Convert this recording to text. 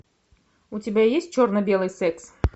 у тебя есть черно белый секс